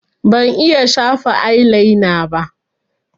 Ban iya shafa ailaina ba